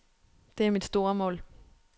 Det er mit store mål.